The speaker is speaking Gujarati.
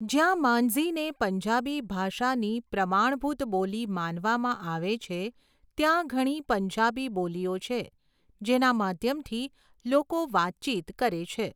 જ્યાં માંઝીને પંજાબી ભાષાની પ્રમાણભૂત બોલી માનવામાં આવે છે, ત્યાં ઘણી પંજાબી બોલીઓ છે જેના માધ્યમથી લોકો વાતચીત કરે છે.